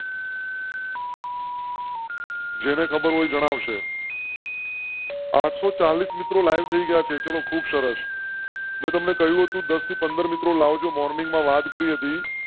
જેને ખબર હોય જણાવ શે . આઠસો ચાલીસ મિત્રો લાઇવ થઇ ગયા છે. ચલો ખૂબ સરસ. મેં તમ ને કહ્યું હતું. દસ થી પંદર મિત્રો જો morning વાત કરી હતી.